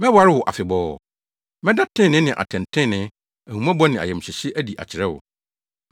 Mɛware wo afebɔɔ; mɛda trenee ne atɛntrenee, ahummɔbɔ ne ayamhyehye adi akyerɛ wo.